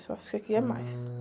Eu acho que aqui é mais.